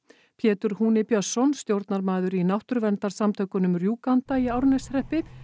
Pétur húni Björnsson stjórnarmaður í náttúruverndarsamtökunum í Árneshreppi